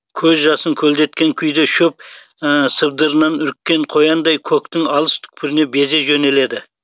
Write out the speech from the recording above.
көз жасын көлдеткен күйде шөп сыбдырынан үріккен қояндай көктің алыс түкпіріне безе жөнеледі